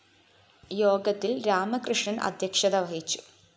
യോഗത്തില്‍ രാമകൃഷ്ണന്‍ അദ്ധ്യക്ഷത വഹിച്ചു